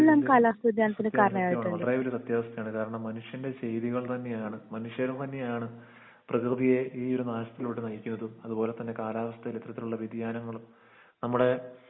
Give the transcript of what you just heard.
അതിന്റെ സത്യാവസ്ഥയാണ് അത്രേ വലിയ സത്യാവസ്ഥയാണ് കാരണം മനുഷ്യൻ്റെ ശൈലികൾ തന്നെയാണ് മനുഷ്യർ തന്നെയാണ് പ്രെകൃതിയെ ഈ ഒരു നാശത്തിലോട്ട് നയിക്ക് വെക്കും അതുപോലതന്നെ കാലാവസ്ഥ ഇത്തരത്തിലുള്ള വേദിയാനങ്ങളും നമ്മളെ